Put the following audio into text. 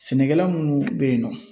Sɛnɛkɛla munnu bɛ yen nɔ